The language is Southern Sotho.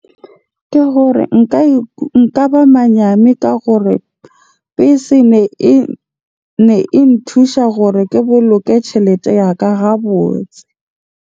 Ke gore nka ba manyane ka gore bese ne e nthusa hore ke boloke tjhelete ya ka hara ga botse.